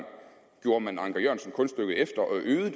gjorde man anker jørgensen kunststykket efter og øgede